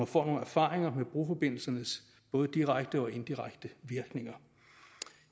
får nogle erfaringer med broforbindelsens både direkte og indirekte virkninger